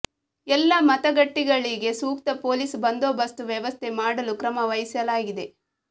ಎಲ್ಲಾ ಮತಗಟ್ಟೆಗಳಿಗೆ ಸೂಕ್ತ ಪೊಲೀಸ್ ಬಂದೋಬಸ್ತ್ ವ್ಯವಸ್ಥೆ ಮಾಡಲು ಕ್ರಮ ವಹಿಸಲಾಗಿದೆ